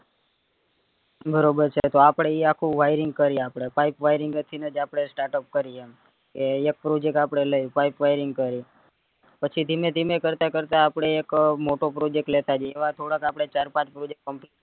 બરોબર છે તો આપડે ઈ આખું wiring કરી આપડે pipe wiring થીનેજ આપડે startup કરીએ એ એક project આપડે લિયે pipe wiring કરીએ પછી ધીમે ધીમે કરતા કરતા આપડે એક મોટો project લેતા જઈએ એવા થોડાક આપડે ચાર પાંચ project complete